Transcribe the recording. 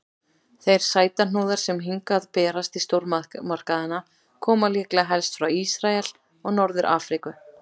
Þeir sætuhnúðar sem hingað berast í stórmarkaðina koma líklega helst frá Ísrael og Norður-Afríku.